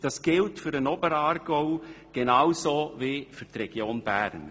Dies gilt für den Oberaargau genauso wie für die Region Bern.